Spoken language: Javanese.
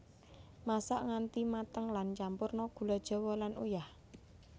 Masak nganti mateng lan campurna gula jawa lan uyah